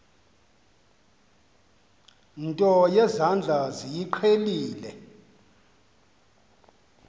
nto yezandla niyiqhelile